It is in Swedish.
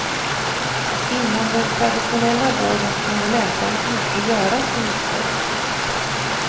Inom den traditionella vården kunde läkarna inte göra så mycket.